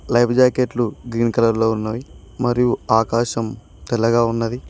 Life జాకెట్లు green colour లో ఉన్నవి మరియు ఆకాశం తెల్లగా ఉన్నది.